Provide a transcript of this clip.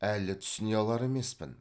әлі түсіне алар емеспін